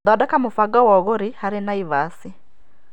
Thondeka mũbango wa ũgũri hari Naĩvasi.